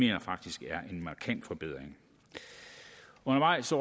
jeg faktisk er en markant forbedring undervejs